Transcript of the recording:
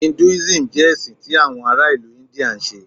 Hinduism jẹ ẹsin ti awọn ara ilu India nṣe.